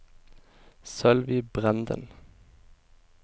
Sølvi Brenden